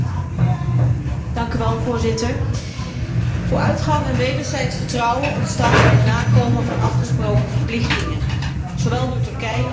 Voorzitter, vooruitgang en wederzijds vertrouwen ontstaan bij het nakomen van afgesproken verplichtingen, zowel door Turkije als door de Europese Unie.